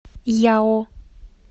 яо